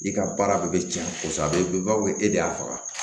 I ka baara de bɛ tiɲɛ kosɛbɛ a bɛ bɛn bawo e de y'a faga